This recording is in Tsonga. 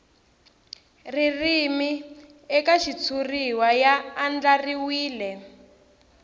ririmi eka xitshuriwa ya andlariwile